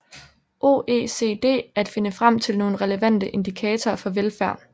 OECD at finde frem til nogle relevante indikatorer for velfærd